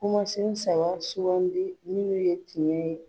Kumansen saba sugandi minnu ye tiɲɛ ye.